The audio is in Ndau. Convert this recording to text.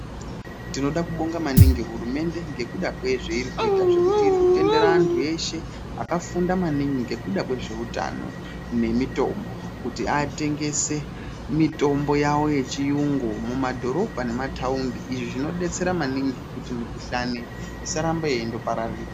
Tinoda maningi ngekuti hurumende ngekuda kwezve iri kuita ngekuti iri kutendere antu veshe akafunda maningi ngekuda kwezve utano nemutombo kuti atengese mitombo yechiyungu mumadhorobha nemumataundi izvi zvinodetsera maningi kuti mukuhlani asarambe yeindo pararira.